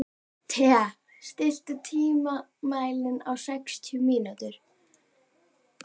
Thea, stilltu tímamælinn á sextíu mínútur.